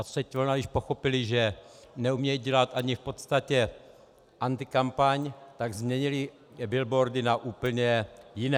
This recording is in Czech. A třetí vlna již pochopila, že neumějí dělat ani v podstatě antikampaň, tak změnili billboardy na úplně jiné.